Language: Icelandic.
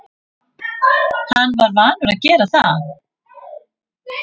Hann var vanur að gera það.